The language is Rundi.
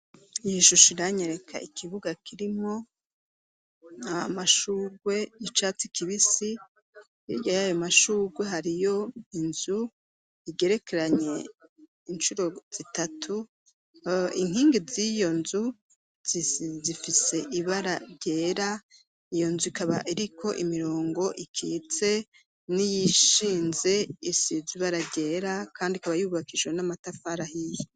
iyoshusho iranyereka ikibuga kirimwo amashugwe y'icatsi kibisi hirya yayo mashurwe hariyo inzu igerekeranye incuro zitatu inkingi z'iyo nzu zifise ibara ryera iyo nzu ikaba iriko imirongo ikitse n'iyishinze isize ibara ryera kandi ikaba yubakishijwe n'amatafara ahiye